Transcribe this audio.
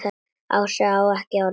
Ása á ekki orð.